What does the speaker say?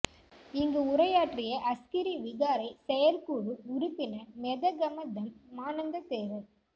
இங்கு உரையாற்றிய அஸ்கிரி விகாரை செயற்குழு உறுப்பினர் மெதகம தம் மானந்த தேரர்